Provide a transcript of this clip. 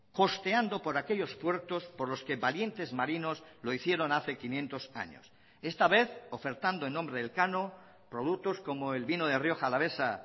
costeando por aquellos puertos por los que valientes marinos lo hicieron hace quinientos años esta vez ofertando en nombre de elcano productos como el vino de rioja alavesa